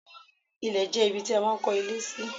Ilẹ̀ jẹ́ ibi tí a máa ń kó ilé sí.